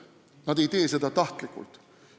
Nad ei tee seda tahtlikult.